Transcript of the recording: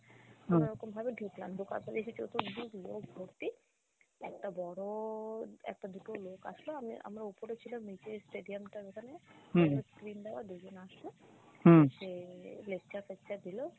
কোনো রকমভাবে ঢুকলাম ঢুকার পরে দেখি চতুর্দিক লোক ভর্তি একটা বড় একটা দুটো লোক আসলো আমি আমরা উপরে ছিলাম নিচে stadium টার ওখানে দুজন আসলো এসে lecture ফেকচার দিল।